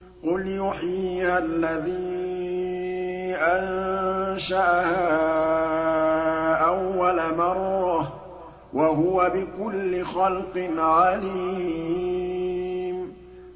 قُلْ يُحْيِيهَا الَّذِي أَنشَأَهَا أَوَّلَ مَرَّةٍ ۖ وَهُوَ بِكُلِّ خَلْقٍ عَلِيمٌ